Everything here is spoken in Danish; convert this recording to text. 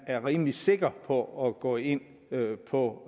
er rimelig sikker på at gå ind på